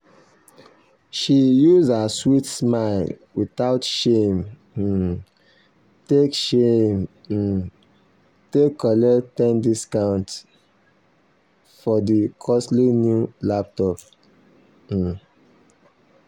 she use her sweet smile without shame um take shame um take collect ten percent discount um for the costly new laptop. um